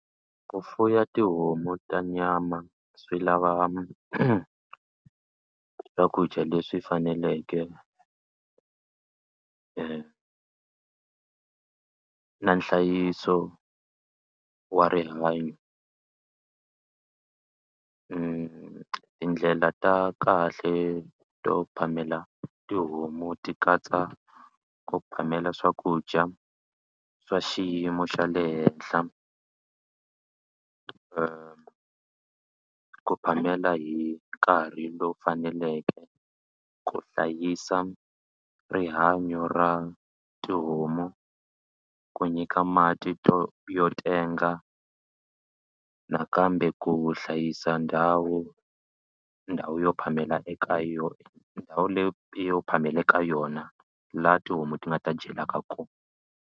Ku fuya tihomu ta nyama swi lava swakudya leswi faneleke na nhlayiso wa rihanyo tindlela ta kahle to phamela tihomu ti katsa ku phamela swakudya swa xiyimo xa le henhla ku phamela hi nkarhi lowu faneleke ku hlayisa rihanyo ra tihomu ku nyika mati to yo tenga nakambe ku hlayisa ndhawu ndhawu yo phamela eka yo ndhawu leyo yo phamela ka yona laha tihomu ti nga ta dyelaka kona.